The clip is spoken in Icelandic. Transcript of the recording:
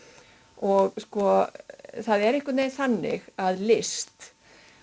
og það er einhvern veginn þannig að list